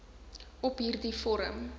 op hierdie vorm